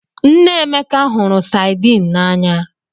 Nne Emeka hụrụ Saidin n'anya